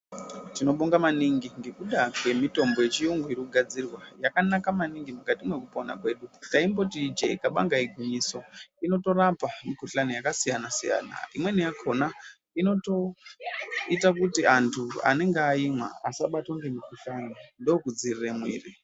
Tinobonga maningi ngekuda kwemitombo yechiyungu iri kugadzirwa. Yakanaka maningi mukati mwekupona kwedu. Taimboti ijee kabanga igwinyiso. Inotorapa mikuhlani yakasiyana siyana. Imweni yakona inotoita kuti antu anenge aimwa asabatwa ngemikuhlani, ndokudzivirire mwiri.